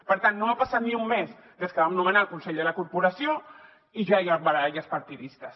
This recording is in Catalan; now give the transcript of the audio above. per tant no ha passat ni un mes des que vam nomenar el consell de la corporació i ja hi ha baralles partidistes